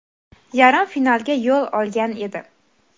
yarim finalga yo‘l olgan edi.